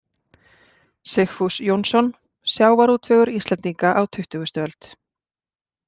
Sigfús Jónsson: Sjávarútvegur Íslendinga á tuttugustu öld.